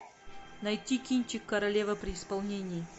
найти кинчик королева при исполнении